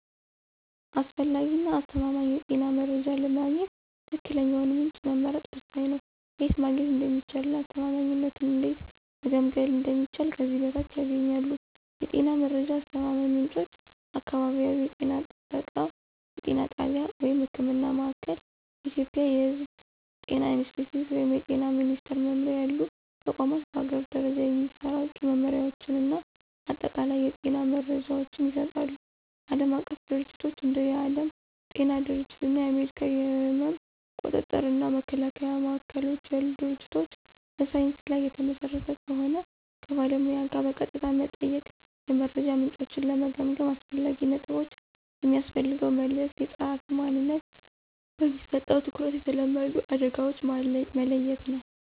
አስፈላጊ እና አስተማማኝ የጤና መረጃ ለማግኘት ትክክለኛውን ምንጭ መምረጥ ወሳኝ ነው። ከየት ማግኘት እንደሚቻል እና አስተማማኝነቱን እንዴት መገምገም እንደሚችሉ ከዚህ በታች ያገኛሉ። የጤና መረጃ አስተማማኝ ምንጮች · አካባቢያዊ የጤና ጣቢያ (ህክምና ማእከል። ኢትዮጵያ የሕዝብ ጤና ኢንስቲትዩት ወይም የጤና ሚኒስትር መምሪያ ያሉ ተቋማት በአገር ደረጃ የሚሰራጩ መመሪያዎችን እና አጠቃላይ የጤና መረጃዎችን ይሰጣሉ። ዓለም አቀፍ ድርጅቶች እንደ የዓለም ጤና ድርጅት እና የአሜሪካ የሕመም ቁጥጥር እና መከላከያ ማዕከሎች ያሉ ድርጅቶች በሳይንስ ላይ የተመሰረተ ከሆን። ከባለሙያ ጋር በቀጥታ መጠየቅ። የመረጃ ምንጮችን ለመገምገም አስፈላጊ ነጥቦች። የሚያስተላልፈው መልዕክት፣ የጸሐፊው ማንነት፣ በሚሰጠው ትኩረት፣ የተለመዱ አደጋዎችን መለየት ነው።